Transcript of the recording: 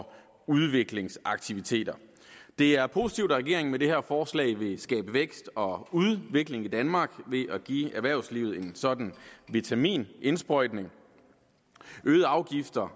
udviklingsaktiviteter det er positivt at regeringen med det her forslag vil skabe vækst og udvikling i danmark ved at give erhvervslivet en sådan vitaminindsprøjtning øgede afgifter